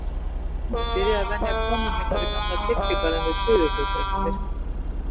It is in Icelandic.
Ég byrjaði að venja komur mínar í gamla kirkjugarðinn við Suðurgötu eftir myrkur.